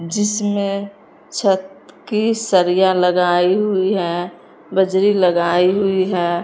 जिसमें छत की सरिया लगाई हुई है बजरी लगाई हुई है।